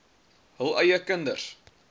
hul eie kinders